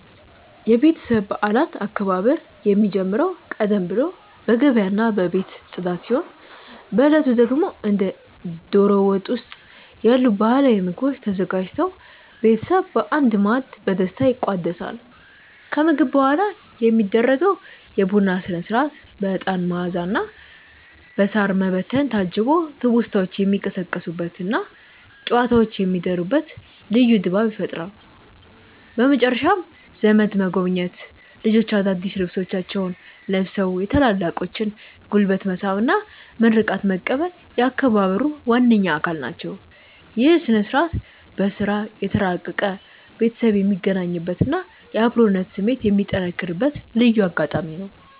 የቤተሰብ በዓላት አከባበር የሚጀምረው ቀደም ብሎ በገበያና በቤት ጽዳት ሲሆን፣ በዕለቱ ደግሞ እንደ ደሮ ወጥ ያሉ ባህላዊ ምግቦች ተዘጋጅተው ቤተሰብ በአንድ ማዕድ በደስታ ይቋደሳል። ከምግብ በኋላ የሚደረገው የቡና ሥነ-ሥርዓት በዕጣን መዓዛና በሳር መበተን ታጅቦ ትውስታዎች የሚቀሰቀሱበትና ጨዋታዎች የሚደሩበት ልዩ ድባብ ይፈጥራል። በመጨረሻም ዘመድ መጎብኘት፣ ልጆች አዳዲስ ልብሶቻቸውን ለብሰው የታላላቆችን ጉልበት መሳም እና ምርቃት መቀበል የአከባበሩ ዋነኛ አካል ናቸው። ይህ ሥነ-ሥርዓት በሥራ የተራራቀ ቤተሰብ የሚገናኝበትና የአብሮነት ስሜት የሚጠነክርበት ልዩ አጋጣሚ ነው።